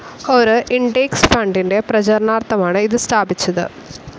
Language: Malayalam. ഒരു ഇൻഡെക്സ്‌ ഫണ്ടിന്റെ പ്രചരണാർത്ഥമാണ് ഇത് സ്ഥാപിച്ചത്.